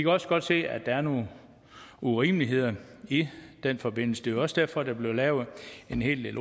også godt se at der er nogle urimeligheder i den forbindelse det er også derfor der blev lavet en hel del